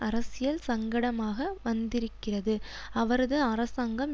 அரசியல் சங்கடமாக வந்திருக்கிறது அவரது அரசாங்கம்